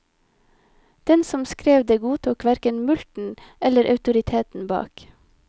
Den som skrev det godtok hverken mulkten eller autoriteten bak.